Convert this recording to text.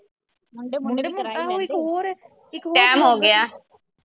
time ਹੋਗਿਆ